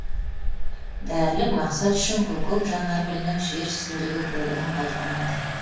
дәрілік мақсат үшін көкек жанаргүлінің жер үстіндегі бөлігін пайдаланады